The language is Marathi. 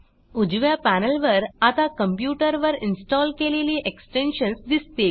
उजव्या पॅनेलवर आता कॉम्प्युटरवर इन्स्टॉल केलेली एक्सटेन्शन्स दिसतील